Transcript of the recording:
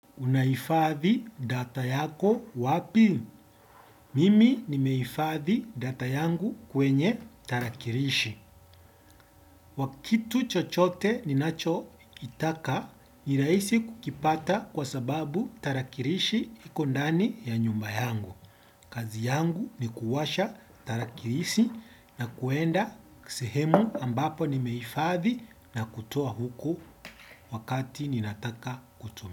Unaifadhi data yako wapi? Mimi nimeifadhi data yangu kwenye tarakirishi. Wakitu chochote ninachokitaka, ni rahisi kukipata kwa sababu tarakirishi iko ndani ya nyumba yangu. Kazi yangu ni kuwasha tarakirishi na kuenda sehemu ambapo nimeifadhi na kutoa huko wakati ninataka kutumia.